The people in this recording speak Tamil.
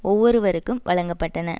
ஒவ்வொருவருக்கும் வழங்க பட்டன